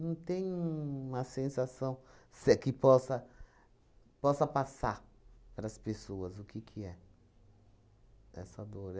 tem uma sensação se que possa possa passar para as pessoas o que que é essa dor.